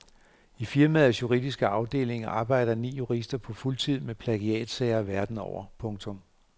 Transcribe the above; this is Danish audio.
I firmaets juridiske afdeling arbejder ni jurister på fuldtid med plagiatsager verden over. punktum